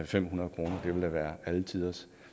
fem hundrede kroner det ville da være alle tiders